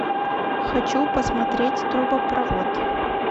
хочу посмотреть трубопровод